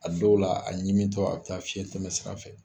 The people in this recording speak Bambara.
A dɔw la , a ɲimi tɔ a be taa fiɲɛ tɛmɛ sira fɛ.